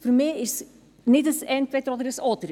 Für mich ist es nicht ein Entweder-Oder.